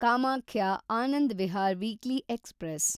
Kamakhya Anand Vihar weekly express